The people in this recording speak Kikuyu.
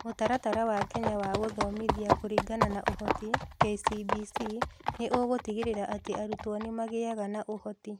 Mũtaratara wa Kenya wa Gũthomithia kũringana na ũhoti (KCBC) nĩ ũgũtigĩrĩra atĩ arutwo nĩ magĩaga na ũhoti.